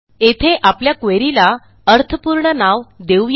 येथे आपल्या queryला अर्थपूर्ण नाव देऊ या